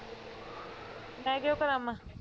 ਮੈਂ ਕਿਉਂ ਕਰਾਵਾਂ